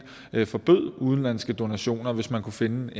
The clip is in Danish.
forbød udenlandske donationer hvis man kunne finde